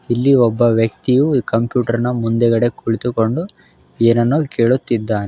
ಇಲ್ಲಿ ಒಬ್ಬ ವ್ಯಕ್ತಿಯು ಈ ಕಂಪ್ಯೂಟರ್ ನ ಮುಂದುಗಡೆ ಕುಳಿತುಕೊಂಡು ಏನನ್ನೋ ಕೇಳುತ್ತಿದ್ದಾನೆ.